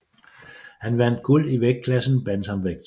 Han vandt guld i vægtklassen bantamvægt